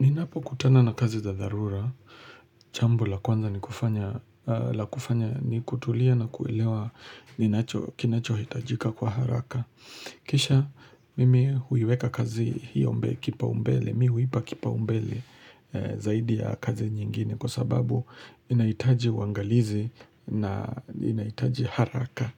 Ninapokutana na kazi za dharura. Jambo la kwanza la kufanya ni kutulia na kuelewa kinachohitajika kwa haraka. Kisha mimi huiweka kazi hiyo kipao mbele Mimi huipa kipao mbele zaidi ya kazi nyingine kwa sababu inahitaji uangalizi na inahitaji haraka.